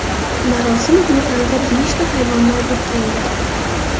Marosim gulxanida beshta hayvon nobud bo‘ldi.